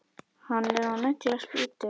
Hann er að negla spýtu.